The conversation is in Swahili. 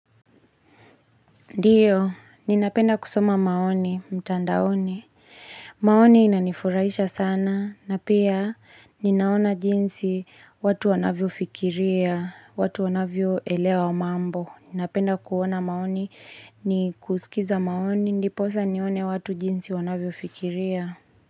Ndiyo, ninapenda kusoma maoni, mtandaoni. Maoni inanifuraisha sana, na pia ninaona jinsi watu wanavyo fikiria, watu wanavyo elewa wa mambo. Ninapenda kuona maoni ni kusikiliza maoni, ndipo sasa nione watu jinsi wanavyo fikiria.